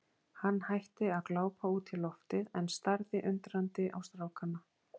Hann hætti að glápa út í loftið en starði undrandi á strákana.